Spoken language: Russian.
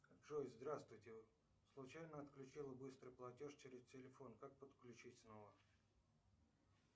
джой здравствуйте случайно отключил быстрый платеж через телефон как подключить снова